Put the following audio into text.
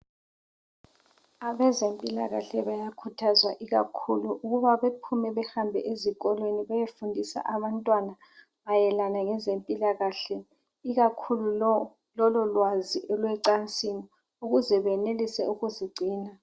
Abezempilakahle bayakhuthazwa ikakhulu ukuba bephume behambe ezikolweni beyefundisa abantwana mayelana ngezempilakahle, ikakhulu lolo lwazi olwecansini ukuze benelise ukuzigcina.